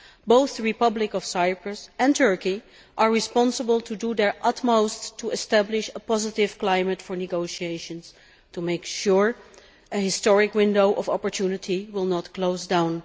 Both the Republic of Cyprus and Turkey are responsible for doing their utmost to establish a positive climate for negotiations to make sure a historic window of opportunity will not close down.